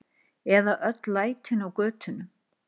Eða öll lætin á götunum!